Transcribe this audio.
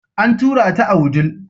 An tura ta a wudil.